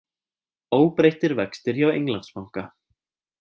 Óbreyttir vextir hjá Englandsbanka